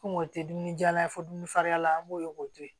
Komi o tɛ dumuni jala ye fo dumuni far'a la an b'o ye k'o to yen